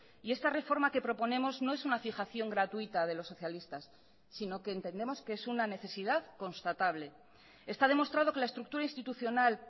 y esta reforma que proponemos no es una fijación gratuita de los socialistas sino que entendemos que es una necesidad constatable está demostrado que la estructura institucional